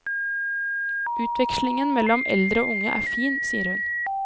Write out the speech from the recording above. Utvekslingen mellom eldre og unge er fin, sier hun.